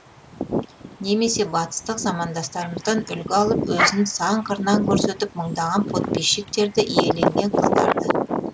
немесе батыстық замандастарымыздан үлгі алып өзін сан қырынан көрсетіп мыңдаған подписчиктерді иеленген қыздарды